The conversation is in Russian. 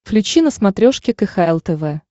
включи на смотрешке кхл тв